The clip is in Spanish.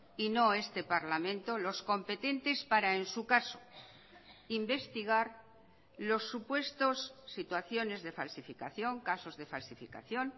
y no este parlamento los competentes para en su caso investigar los supuestos situaciones de falsificación casos de falsificación